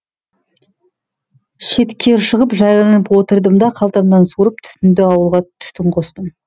шеткері шығып жайланып отырдым да қалтамнан суырып түтінді ауылға түтін қостым